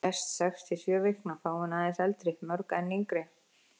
Flest sex til sjö vikna, fáein aðeins eldri, mörg enn yngri.